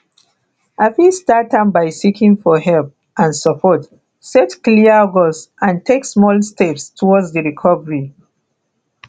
i fit start am by seeking for help and support set clear goals and take small steps towards di recovery